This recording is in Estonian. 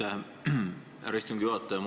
Aitäh, härra istungi juhataja!